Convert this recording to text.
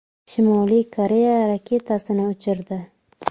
Shimoliy Koreya raketasini uchirdi.